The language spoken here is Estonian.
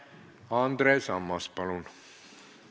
Andres Ammas, palun!